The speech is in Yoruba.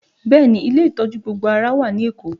Bẹẹ ni, ilé ìtọ́jú gbogbo ara wà ní Èkó